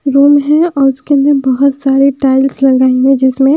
room है और उसके अंदर बहुत सारी टाइल्स लगाई हैं जिसमें--